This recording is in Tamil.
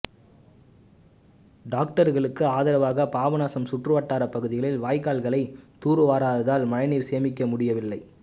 டாக்டர்களுக்கு ஆதரவாக பாபநாசம் சுற்றுவட்டார பகுதியில் வாய்க்கால்களை தூர்வாராததால் மழைநீரை சேமிக்க முடியவில்லை